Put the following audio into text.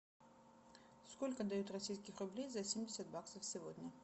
сколько дают российских рублей за семьдесят баксов сегодня